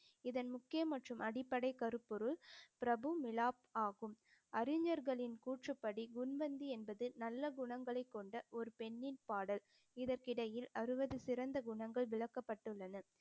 இதன் முக்கிய மற்றும் அடிப்படை கருப்பொருள் பிரபு மிலாப் ஆகும் அறிஞர்களின் கூற்றுப்படி குண்வந்தி என்பது நல்ல குணங்களைக் கொண்ட ஒரு பெண்ணின் பாடல் இதற்கிடையில் அறுவது சிறந்த குணங்கள் விளக்கப்பட்டுள்ளன